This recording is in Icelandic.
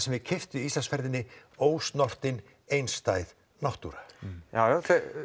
þið keyptuð í ferðinni ósnortin einstæð náttúra já